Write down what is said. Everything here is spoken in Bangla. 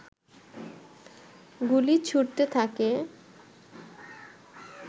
গুলি ছুড়তে থাকে